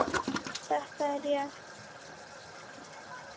Þetta er rétt.